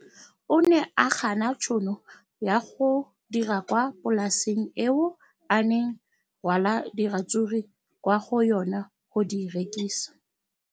O ne a gana tšhono ya go dira kwa polaseng eo a neng rwala diratsuru kwa go yona go di rekisa.